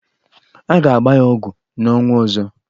A ga-agba ya ọgwụ n'ọnwa ọzọ.